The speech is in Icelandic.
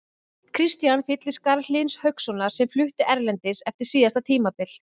Kristian fyllir skarð Hlyns Haukssonar sem flutti erlendis eftir síðasta tímabil.